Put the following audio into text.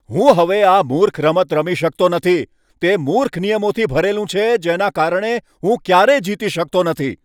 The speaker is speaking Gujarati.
હું હવે આ મૂર્ખ રમત રમી શકતો નથી. તે મૂર્ખ નિયમોથી ભરેલું છે જેના કારણે હું ક્યારેય જીતી શકતો નથી.